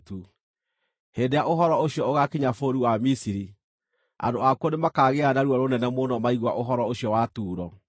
Hĩndĩ ĩrĩa ũhoro ũcio ũgaakinya bũrũri wa Misiri, andũ akuo nĩmakaagĩa na ruo rũnene mũno maigua ũhoro ũcio wa Turo.